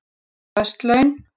Föst laun